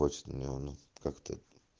почты у меня его нет как-то